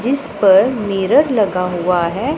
जिस पर मेरर लगा हुआ है।